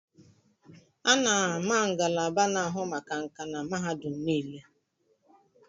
A na-ama ngalaba na-ahụ maka nkà na mahadum niile.